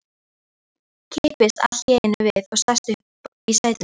Kippist allt í einu við og sest upp í sætinu.